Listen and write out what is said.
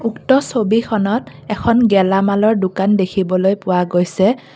উক্ত ছবিখনত এখন গেলামালৰ দোকান দেখিবলৈ পোৱা গৈছে।